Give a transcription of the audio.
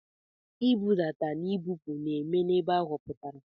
Nbudata na ibupu na-eme n'ebe a họpụtara.